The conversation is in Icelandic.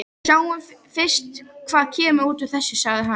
Sjáum fyrst hvað kemur út úr þessu, sagði hann.